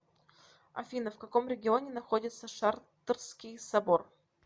афина в каком регионе находится шартрский собор